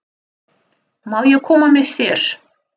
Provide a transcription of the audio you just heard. Má ég koma með þér?